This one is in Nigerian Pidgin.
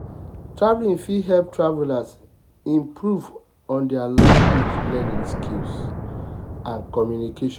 traveling fit help travelers improve on their language learning skill and communication.